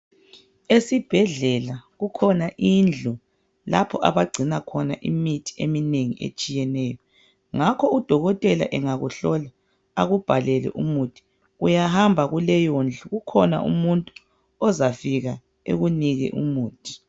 Esibhedlela kukhona indlu lapho abagcina khona imithi eminengi etshiyeneyo. Ngakho udokotela engakuhlola akubhalele umuthi uyahamba kuleyondlu, kukhona umuntu ozafika ekunike umuthi.